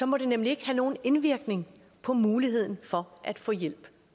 må det nemlig ikke have nogen indvirkning på muligheden for at få hjælp